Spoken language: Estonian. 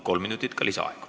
Kolm minutit lisaaega.